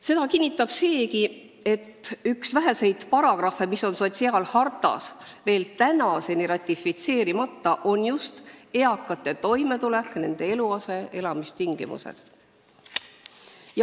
Seda kinnitab seegi, et üks väheseid sotsiaalharta paragrahve, mis on meil veel tänaseni ratifitseerimata, käsitleb just eakate toimetulekut, nende eluaset ja elamistingimusi.